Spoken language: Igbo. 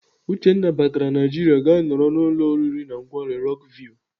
Uchenna batara Naijiria gaa nọrọ n'ụlọ oriri na nkwari Rock view.